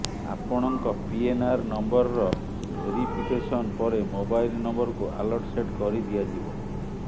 ଆପଣଙ୍କ ପିଏନଆର ନମ୍ବରର ଭେରିଫିକେସନ ପରେ ମୋବାଇଲ ନମ୍ବରକୁ ଆଲର୍ଟ ସେଟ୍ କରିଦିଆଯିବ